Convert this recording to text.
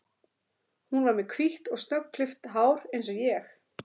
Hún var með hvítt og snöggklippt hár eins og ég.